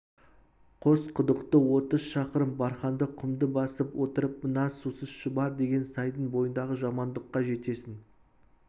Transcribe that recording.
қосқұдықтан отыз шақырым барханды құмды басып отырып мына сусыз шұбар деген сайдың бойындағы жаманқұдыққа жетесің